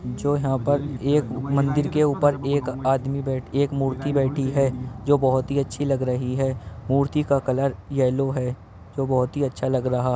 जो यहां पर एक मंदिर के ऊपर एक आदमी बैठ एक मूर्ति बैठी है जो बोहोती अच्छी लग रही है। मूर्ति का कलर येलो है जो बोहोती अच्छा लग रहा --